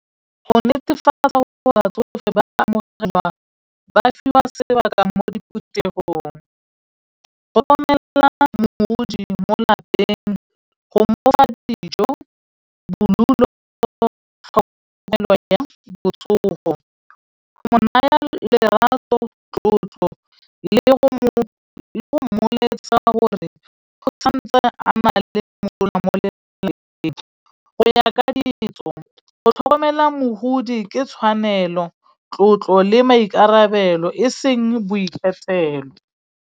Go netefatsa gore batsofe ba amogelwa ba fiwa sebaka mo ditirong. Go romela modudi mo lapeng, go mofa dijo, bodulo, tlhokomelo ya botsogo, go mo naya lerato, tlotlo le go mmoletsa gore o santse a na le mosola mo lelapeng. Go ya ka ditso go tlhokomela mogodi ke tshwanelo tlotlo le maikarabelo e seng boikgethelo.